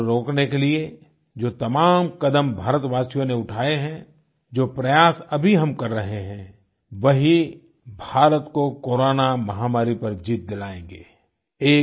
corona को रोकने के लिए जो तमाम कदम भारतवासियों ने उठाए हैं जो प्रयास अभी हम कर रहे हैं वही भारत को कोरोना महामारी पर जीत दिलायेंगे